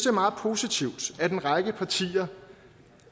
er meget positivt at en række partier